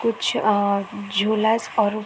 कुछ अअअ झुलाश और--